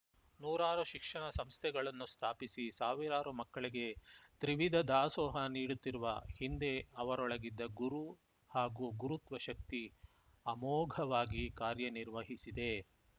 ನೂರಾರು ಶಿಕ್ಷಣ ಸಂಸ್ಥೆಗಳನ್ನು ಸ್ಥಾಪಿಸಿ ಸಾವಿರಾರು ಮಕ್ಕಳಿಗೆ ತ್ರಿವಿಧ ದಾಸೋಹ ನೀಡುತ್ತಿರುವ ಹಿಂದೆ ಅವರೊಳಗಿದ್ದ ಗುರು ಹಾಗೂ ಗುರುತ್ವ ಶಕ್ತಿ ಅಮೋಘವಾಗಿ ಕಾರ್ಯನಿರ್ವಹಿಸಿದೆ